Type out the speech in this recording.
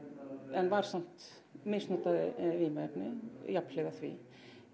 en var samt misnotaði vímuefni jafnhliða því